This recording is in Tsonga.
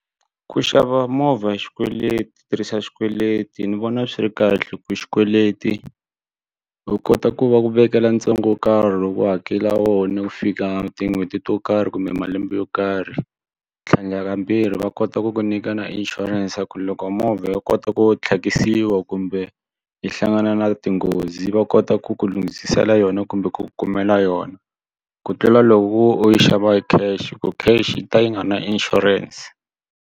Ku xava movha hi xikweleti tirhisa xikweleti ni vona swi ri kahle ku xikweleti u kota ku va ku vekela ntsengo wo karhi loko u hakela wona ku fika tin'hweti to karhi kumbe malembe yo karhi ku tlhandlakambirhi va kota ku ku nyika na insurance ku loko movha yo kota ku tlhakisiwa kumbe yi hlangana na tinghozi va kota ku ku lunghisisela yona kumbe ku kumela yona ku tlula loko u yi xava hi cash ku cash ta yi nga na insurance.